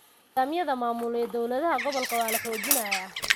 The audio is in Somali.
Nidaamyada maamul ee dowladaha gobolka waa la xoojinayaa.